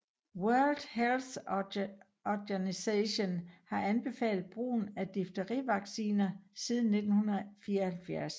World Health Organisation har anbefalet brugen af Difterivacciner siden 1974